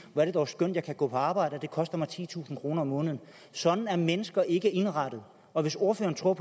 hvor er det dog skønt at jeg kan gå på arbejde og det koster mig titusind kroner om måneden sådan er mennesker ikke er indrettet og hvis ordføreren tror